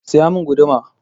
Saya mun guduma!